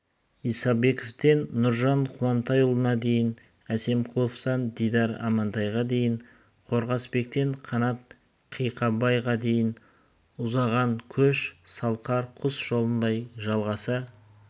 исабековтен нұржан қуантайұлына дейін әсемқұловтан дидар амантайға дейін қорғасбектен қанат қиықбайға дейін ұзаған көш салқар құс жолындай жалғаса